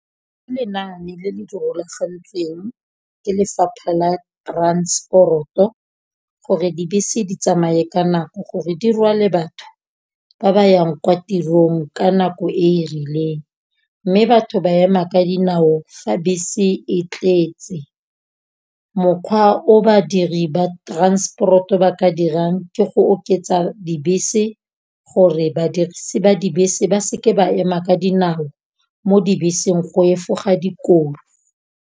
Ke lenaane le le rulagantsweng ke lefapha la transport-o, gore dibese di tsamaye ka nako gore di rwale batho ba ba yang kwa tirong ka nako e e rileng, mme batho ba ema ka dinao fa bese e tletse. Mokgwa o badiri ba transport-o ba ka dirang ke go oketsa dibese, gore badirisi ba dibese ba se ke ba ema ka dinao mo dibeseng go efoga dikotsi.